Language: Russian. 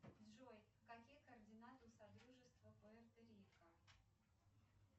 джой какие координаты у содружества пуэрто рико